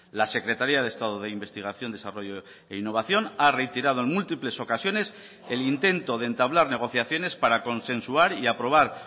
la secretaría de estado de investigación desarrollo e innovación ha reiterado en múltiples ocasiones el intento de entablar negociaciones para consensuar y aprobar